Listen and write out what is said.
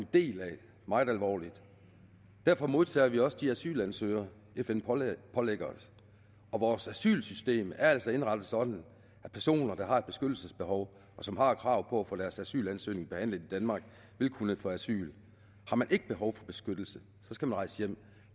en del af meget alvorligt derfor modtager vi også de asylansøgere fn pålægger pålægger os og vores asylsystem er altså indrettet sådan at personer der har et beskyttelsesbehov og som har krav på at få deres asylansøgning behandlet i danmark vil kunne få asyl har man ikke behov for beskyttelse skal man rejse hjem